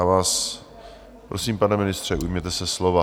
Já vás prosím, pane ministře, ujměte se slova.